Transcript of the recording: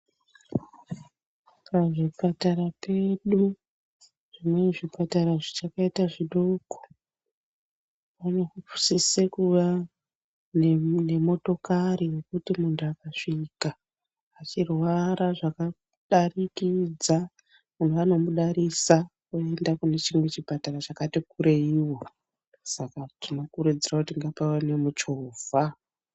Pazvipatata pedu zvimweni zvipatara zvichakaita zvidoko, panosise kuwa nemotokari yekuti muntu akasvika echirwara zvakadarikidza vanhu vanomudarisa vomuisa kune chimwe chipatara chakayi kureiwo, tiri kuzama kukurudzira kuti ngapave nemuchovha.